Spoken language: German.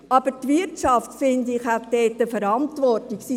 Aber die Wirtschaft hat dort eine Verantwortung, finde ich: